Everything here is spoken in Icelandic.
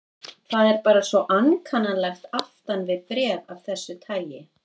Það er bara svo ankannalegt aftan við bréf af þessu tagi.